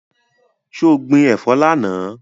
So gbin ẹ̀fọ́ lánàá?